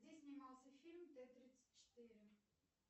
где снимался фильм т тридцать четыре